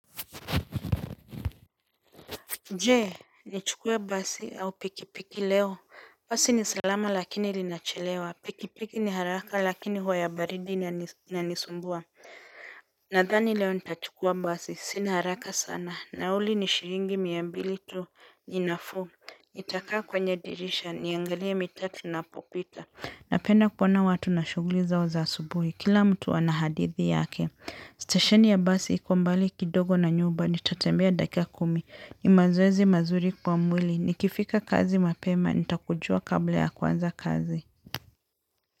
Jee, nichukue basi au pikipiki leo? Basi ni salama lakini linachelewa, pikipiki ni haraka lakini hua baridi inanisumbua. Nadhani leo nitachukua basi, sini haraka sana, nauli ni shilingi mia mbili tu ni nafuu, nitakaa kwenye dirisha, niangalia mitaa tunapopita. Napenda kuoana watu na shuguli zao za asubuhi. Kila mtu ana hadithi yake. Stesheni ya basi iko mbali kidogo na nyumba. Nitatembea dakika kumi. Ni mazoezi mazuri kwa mwili. Nikifika kazi mapema. Nitakujua kabla ya kwanza kazi.